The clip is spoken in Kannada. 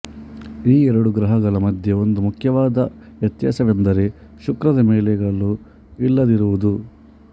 ಈ ಎರಡು ಗ್ರಹಗಳ ಮಧ್ಯೆ ಒಂದು ಮುಖ್ಯವಾದ ವ್ಯತ್ಯಾಸವೆಂದರೆ ಶುಕ್ರದ ಮೇಲೆ ಗಳು ಇಲ್ಲದಿರುವುದು